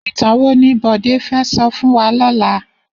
Itán wó ni Bode fè sò fún wà lòlá?